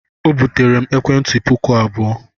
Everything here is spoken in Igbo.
O buteere m ekwentị puku abụọ.